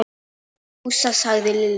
Fúsa! sagði Lilla.